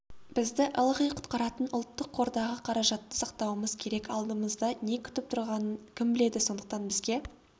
бізді ылғи құтқаратын ұлттық қордағы қаражатты сақтауымыз керек алдымызда не күтіп тұрғанын кім біледі сондықтан бізге